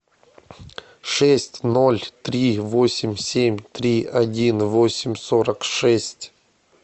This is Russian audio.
шесть ноль три восемь семь три один восемь сорок шесть